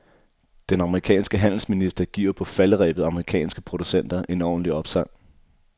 Den amerikanske handelsminister giver på falderebet amerikanske producenter en ordentlig opsang.